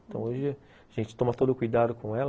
Então, hoje a gente toma todo o cuidado com ela,